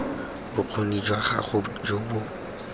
bokgoni jwa gago jo bo